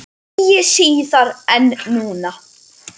Eigi síðar en núna.